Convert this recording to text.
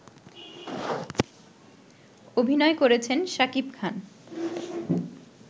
অভিনয় করেছেন শাকিব খান